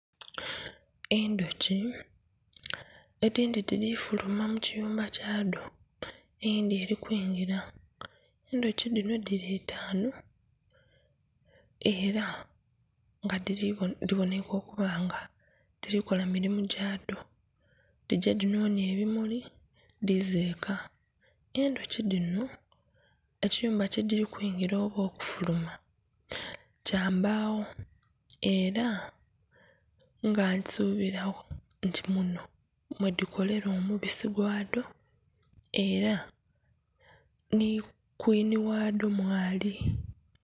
Endhuki edhindhi dhirifuma mukiyumba kyadho eyindhi erikwingira, endhuki dhinho dhiri itanu era nga dhiboneka okubanga dhirikola mirimo gyadho, dhigye dhinonye ebimuli dhize eka. Endhuki dhino ekiyumba kyedhiri kwigira oba okufuluma kyambagho era nga nsubiragho nti muno mwedhikolera omubisi gwaadho era ni kwini wadho mwali.